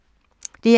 DR1